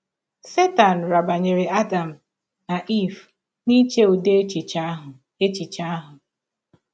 Setan rabanyere Adam na Eve n’iche ụdị echiche ahụ echiche ahụ.